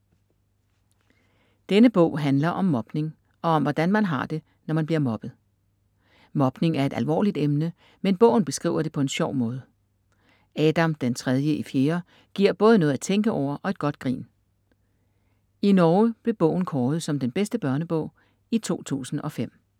Denne bog handler om mobning og om hvordan man har det, når man bliver mobbet. Mobning er et alvorligt emne, men bogen beskriver det på en sjov måde. Adam den tredje i fjerde giver både noget at tænke over og et godt grin. I Norge blev bogen kåret som bedste børnebog i 2005.